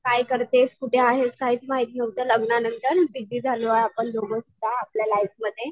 काय करतेस? कुठे आहेस? काहीच माहित नव्हते. लग्नानंतर बीजी झालो आपण दोघं सुद्धा आपल्या लाईफमध्ये.